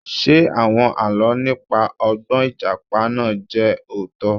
Ṣé àwọn Àlọ́ nípa ọgbọ́n Ìjàpá náà jẹ́ òótọ́?